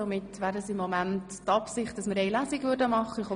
Somit haben wir gegenwärtig die Absicht, nur eine Lesung zu machen.